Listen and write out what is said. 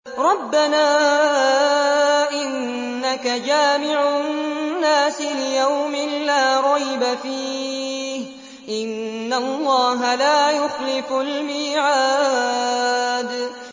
رَبَّنَا إِنَّكَ جَامِعُ النَّاسِ لِيَوْمٍ لَّا رَيْبَ فِيهِ ۚ إِنَّ اللَّهَ لَا يُخْلِفُ الْمِيعَادَ